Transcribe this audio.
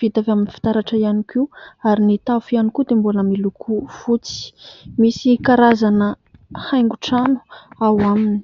vita avy amin'ny fitaratra ihany koa ary ny tafo ihany koa dia mbola miloko fotsy misy karazana haingotrano ao aminy